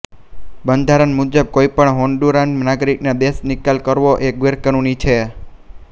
બંધારણ મુજબ કોઈ પણ હોન્ડુરાન નાગરિકને દેશનિકાલ કરવો એ ગેરકાનૂની છે